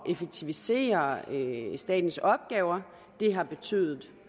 effektivisere statens opgaver det har betydet